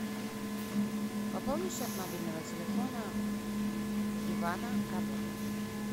пополни счет мобильного телефона ивана работа